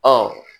Ɔ